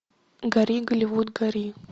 гори голливуд гори